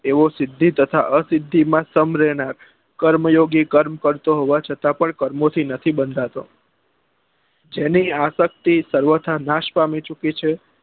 એવો સિદ્ધિ તથા અ સિદ્ધિ માં સ્મ્ર એના કર્મ યોગી કર્મ કરતો હોવા છતાં પણ કર્મો થી નથી બંધાતો જેની આ શાખતી સર્વથા નાશ પામી ચુકી છે